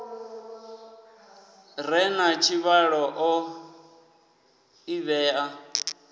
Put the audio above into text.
re na tshivhalo o ḓivhea